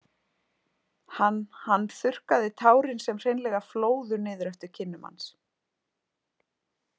Hann hann þurrkaði tárin sem hreinlega flóðu niður eftir kinnum hans.